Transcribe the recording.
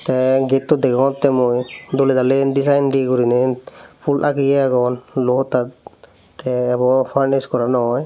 te getto degongotte mui doley daley design dw guriney pul ageye agon luo hotta te ebo furnish gora no oye.